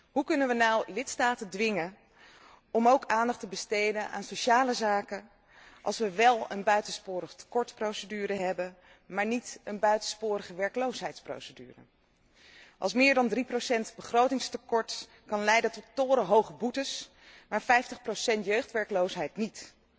Hoe kunnen we nu lidstaten dwingen om ook aandacht te besteden aan sociale zaken als we wel een buitensporigtekortprocedure hebben, maar niet een buitensporigewerkloosheidsprocedure, als meer dan 3 begrotingstekort kan leiden tot torenhoge boetes, maar 50 jeugdwerkloosheid niet.